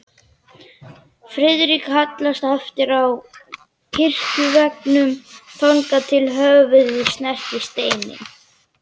Friðrik hallaðist aftur að kirkjuveggnum, þangað til höfuðið snerti steininn.